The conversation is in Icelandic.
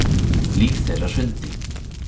Líf þeirra hrundi